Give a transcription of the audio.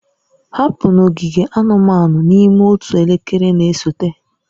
Hapụ n'ogige anụmanụ n'ime otu elekere na-esote!